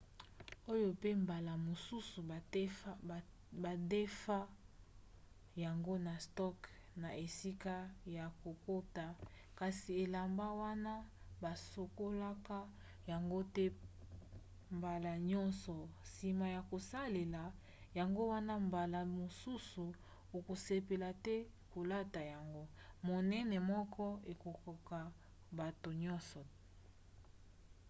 oyo pe mbala mosusu badefa yango na stock na esika ya kokota kasi elamba wana basokolaka yango te mbala nyonso nsima ya kosalela yango wana mbala mosusu okosepela te kolata yango. monene moko ekokoka bato nyonso!